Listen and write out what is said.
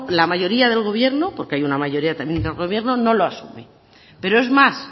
la mayoría del gobierno porque hay una mayoría también del gobierno no lo asume pero es más